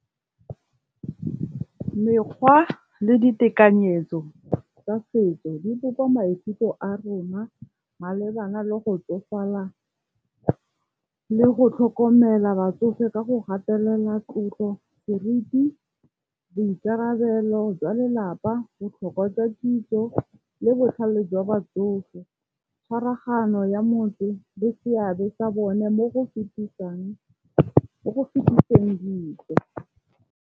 Mekgwa le ditekanyetso tsa setso di bopa maikutlo a rona malebana le go tsofala le go tlhokomela batsofe ka go gatelela, tlotlo, kereiti, boikarabelo jwa lelapa, botlhokwa tsa kitso le botlhale jwa batsofe, tshwaraganyo ya motho le seabe sa bone mo go fetiseng .